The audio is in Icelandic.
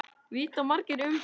Vita margir um hann?